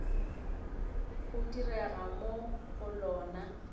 go direga mo go lona